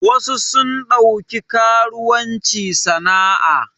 Wasu sun ɗauki karuwanci sana a